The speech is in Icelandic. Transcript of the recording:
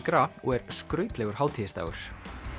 gras og er skrautlegur hátíðisdagur